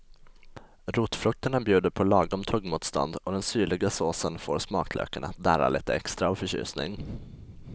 Rotfrukterna bjuder på lagom tuggmotstånd och den syrliga såsen får smaklökarna att darra lite extra av förtjusning.